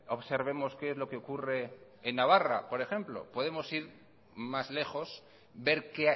observemos qué es lo que ocurre en navarra por ejemplo podemos ir más lejos ver qué